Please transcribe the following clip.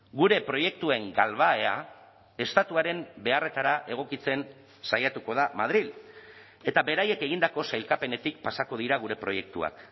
gure proiektuen galbahea estatuaren beharretara egokitzen saiatuko da madril eta beraiek egindako sailkapenetik pasako dira gure proiektuak